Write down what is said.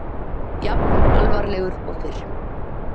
Jafn alvarlegur og fyrr.